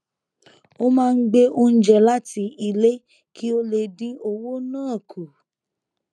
ó máa ń gbé oúnjẹ láti ilé kí ó lè dín owó ná kù